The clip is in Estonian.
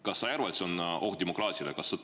Kas sa ei arva, et see on oht demokraatiale?